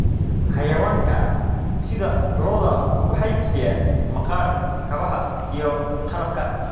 Xayawaanka sida lo'da waxay bixiyaan maqaar kabaha iyo qalabka.